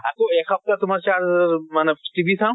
আকৌ এসপ্তাহ তোমাৰ মানে TV